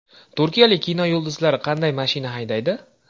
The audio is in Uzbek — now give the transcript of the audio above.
Turkiyalik kino yulduzlari qanday mashina haydaydi?